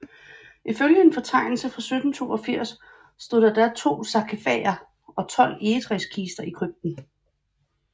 Ifølge en fortegnelse fra 1782 stod der da to sarkifager og 12 egetræskister i krypten